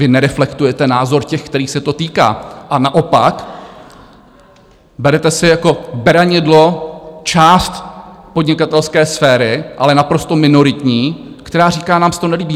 Vy nereflektujete názor těch, kterých se to týká, a naopak berete si jako beranidlo část podnikatelské sféry, ale naprosto minoritní, která říká: nám se to nelíbí.